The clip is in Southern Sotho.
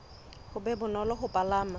ho be bonolo ho palama